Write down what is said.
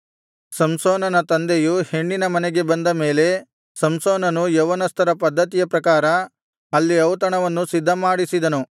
ಸಂಸೋನನ ತಂದೆಯು ಹೆಣ್ಣಿನ ಮನೆಗೆ ಬಂದ ಮೇಲೆ ಸಂಸೋನನು ಯೌವನಸ್ಥರ ಪದ್ದತಿಯ ಪ್ರಕಾರ ಅಲ್ಲಿ ಔತಣವನ್ನು ಸಿದ್ಧಮಾಡಿಸಿದನು